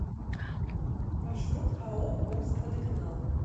маршрут ао омскводоканал